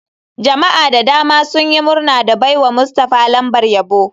Jama'a da dama sun yi murna da baiwa mustafah lambar yabo.